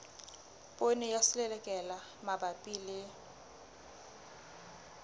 poone ya selelekela mabapi le